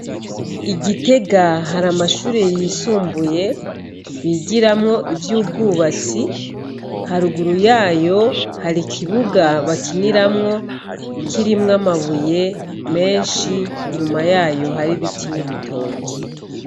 Igitega hari amashuri yisumbuye bigiramwo ivy'ubwubatsi, haruguru yayo hari ikibuga bakiniramwo kirimwo amabuye menshi, inyuma yayo hari ibiti n'ibitoki.